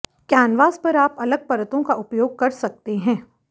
canvas पर आप अलग परतों का उपयोग कर सकते हैं